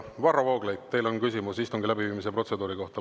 Aga Varro Vooglaid, teil on küsimus istungi läbiviimise protseduuri kohta.